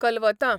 कलवतां